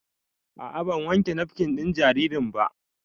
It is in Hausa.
A'a ban wanke nafkin ɗin jaririn ba